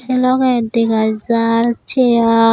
se loge dega jar chair.